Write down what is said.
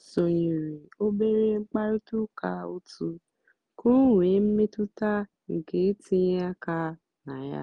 ó sónyéré óbérè mkpàrị́tà ụ́ká ótù kà ọ́ nwée mmétụ́tà nkè ítínyé áká nà yá.